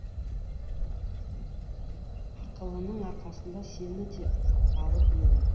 ақылының арқасында сені де алып еді